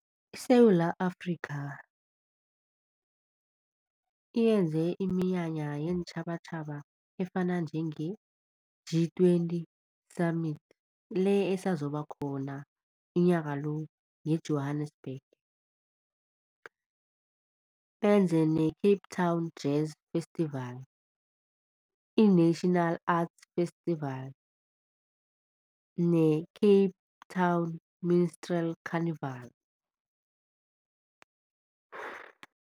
ISewula Afrikha yenze iminyanya yeentjhabatjhaba efana njenge-G twenty summit, le esazoba khona unyaka lo nge-Johannesburg. Benze ne-Cape Town Jazz Festival, i-National Arts Festival ne-Cape Town Minstrel Carnival.